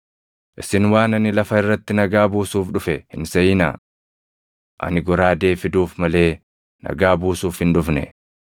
“Isin waan ani lafa irratti nagaa buusuuf dhufe hin seʼinaa. Ani goraadee fiduuf malee nagaa buusuuf hin dhufne.